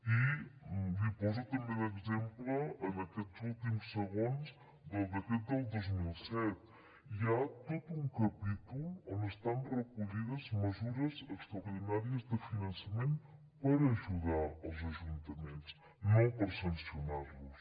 i li poso també d’exemple en aquests últims segons el decret del dos mil set hi ha tot un capítol on estan recollides mesures extraordinàries de finançament per ajudar els ajuntaments no per sancionar los